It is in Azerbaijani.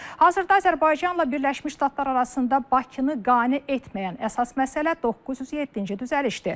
Hazırda Azərbaycanla Birləşmiş Ştatlar arasında Bakını qane etməyən əsas məsələ 907-ci düzəlişdir.